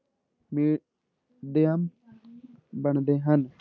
ਮਾਧਿਅਮ ਬਣਦੇ ਹਨ।